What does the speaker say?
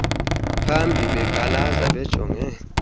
bambi beqalaza bejonge